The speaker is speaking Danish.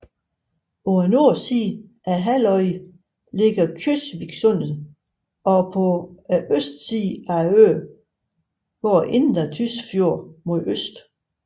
På nordsiden af Hulløya ligger Kjøsviksundet og på østsiden af øen går Indre Tysfjorden mod øst